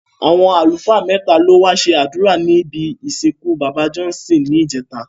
Àwọn àlùfáà mẹ́ta ló wá ṣe àdúrà níbi ìsìnkú bàbá Johnson ní ìjẹta